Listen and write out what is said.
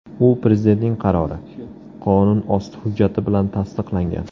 U Prezidentning qarori – qonunosti hujjati bilan tasdiqlangan.